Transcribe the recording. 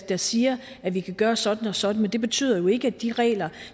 der siger at vi kan gøre sådan og sådan men det betyder jo ikke at de regler